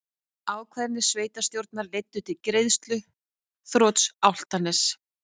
Ákvarðanir sveitarstjórnar leiddu til greiðsluþrots Álftaness